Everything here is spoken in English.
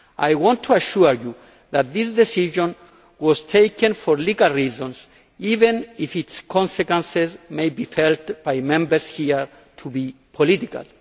I want to assure you that this decision was taken for legal reasons, even if its consequences may be felt by Members here to be political.